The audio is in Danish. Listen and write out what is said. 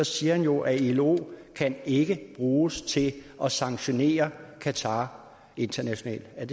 siger han jo at ilo ikke kan bruges til at sanktionere qatar internationalt er